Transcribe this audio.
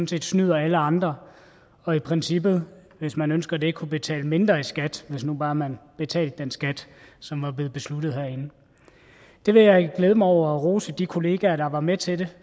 set snyder alle andre og i princippet hvis man ønsker det kunne betale mindre i skat hvis nu bare man betalte den skat som var blevet besluttet herinde det vil jeg glæde mig over og rose de kolleger der var med til det